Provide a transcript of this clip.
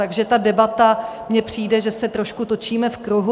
Takže ta debata mi přijde, že se trošku točíme v kruhu.